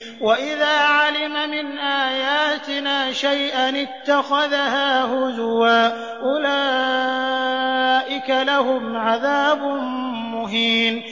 وَإِذَا عَلِمَ مِنْ آيَاتِنَا شَيْئًا اتَّخَذَهَا هُزُوًا ۚ أُولَٰئِكَ لَهُمْ عَذَابٌ مُّهِينٌ